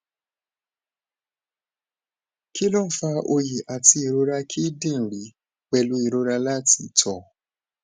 kí ló ń fa oyi ati irora kidinrin pelu irora lati to